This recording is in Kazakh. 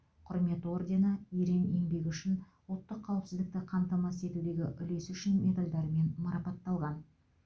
құрмет ордені ерен еңбегі үшін ұлттық қауіпсіздікті қамтамасыз етудегі үлесі үшін медальдарымен марапатталған